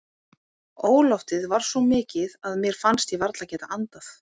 Óloftið var svo mikið að mér fannst ég varla geta andað.